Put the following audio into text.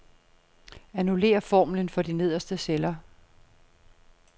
Annullér formlen for de nederste celler.